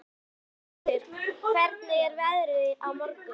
Snæbjartur, hvernig er veðrið á morgun?